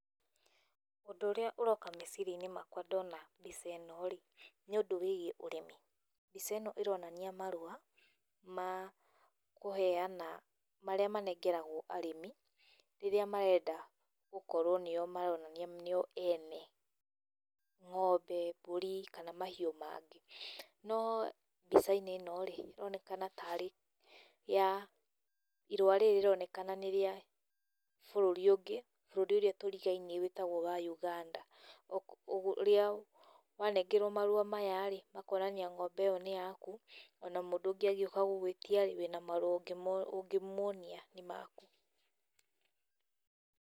Ũndũ ũrĩa ũroka meciria-inĩ makwa ndona mbica ĩno rĩ, nĩ ũndũ wĩgiĩ ũrĩmi. Mbica ĩno ĩronania marũa ma kũheana, marĩa manengeragwo arĩmi rĩrĩa marenda gũkorwo nĩo maronania nĩo ene ngombe, mbũri kana mahiũ mangĩ, no mbica-inĩ ĩno ĩronekana ta arĩ ya...,irũa rĩrĩ rĩronekana nĩ rĩa bũrũri ũngĩ, bũrũri ũrĩa tũrigainie wĩtagwo wa Uganda ũrĩa wanengerwo marũa maya rĩ, ũkonania nginya ng'ombe ĩyo nĩ yaku o na mũndũ angĩũka gũgwĩtia rĩ, wĩna marũa ũngĩmuonia nĩ maku.